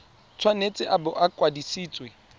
tshwanetse a bo a kwadisitswe